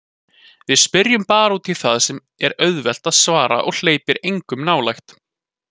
Við spyrjum bara útí það sem er auðvelt að svara og hleypir engum nálægt.